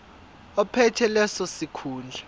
ophethe leso sikhundla